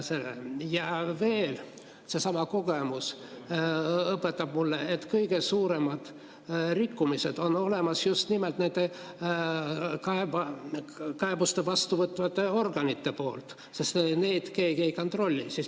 Ja veel, seesama kogemus õpetab mulle, et kõige suuremad rikkumised on just nimelt neid kaebusi vastuvõtvate organite poolt, sest neid keegi ei kontrolli.